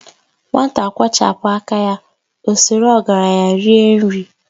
Nwata kwọchapu aka ya, ọ sọrọ ọgaranya rie nri.